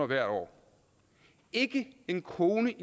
hvert år ikke en krone